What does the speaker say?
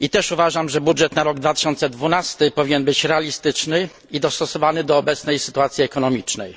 Uważam również, że budżet na rok 2012 powinien być realistyczny i dostosowany do obecnej sytuacji ekonomicznej.